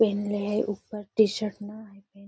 पेन्हले हई ऊपर टी-शर्ट न हथीन |